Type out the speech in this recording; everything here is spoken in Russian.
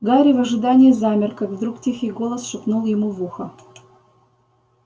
гарри в ожидании замер как вдруг тихий голос шепнул ему в ухо